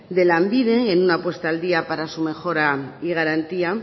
de lanbide en una puesta al día para su mejora y garantía